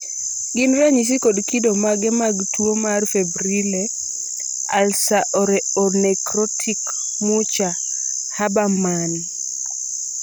gin ranyisi kod kido mage mag tuwo mar febrile ulceronecrotic mucha habermann ?